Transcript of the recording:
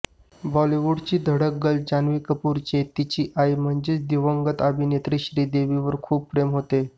बॉलिवूडची धडक गर्ल जान्हवी कपूरचे तिची आई म्हणजेच दिवंगत अभिनेत्री श्रीदेवीवर खूप प्रेम होते